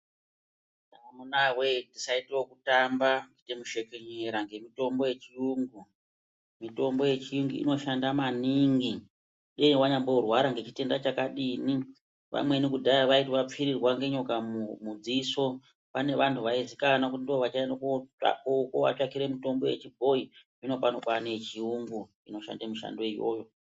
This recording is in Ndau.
Amunawee tisaite okutamba kuite mushekenyera ngemitombo yechiyungu. Mitombo yechiyungu inoshanda maningi dei wanyamborwara ngechitenda chakadini. Vamweni kudhaya vaiti vapfirirwa ngenyoka mudziso pane vantu vaiziikanwa kuti ndivo vachaende kovatsvakire mitombo wechibhoyi, zvinopano kwaane yechiyungu inoshande mishandoyo iyoyo.